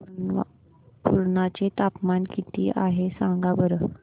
पुर्णा चे तापमान किती आहे सांगा बरं